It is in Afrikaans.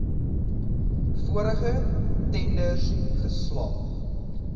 vorige tenders geslaag